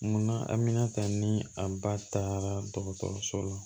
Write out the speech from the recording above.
Munna amina ta ni a ba taara dɔgɔtɔrɔso la